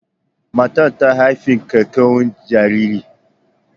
Matar ta haifi kyakkyawan jariri.